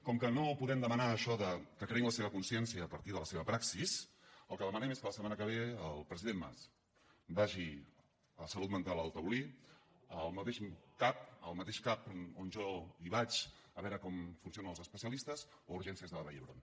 com que no podem demanar això que creïn la seva consciència a partir de la seva praxis el que demanem és que la setmana que ve el president mas vagi a salut mental al taulí al mateix cap on jo vaig a veure com funcionen els especialistes o a urgències de la vall d’hebron